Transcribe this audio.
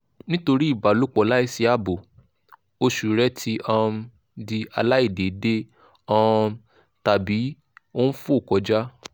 nítorí ìbálòpọ̀ láìsí ààbò oṣù rẹ ti um di aláìdéédé um tàbí ó ń fò kọjá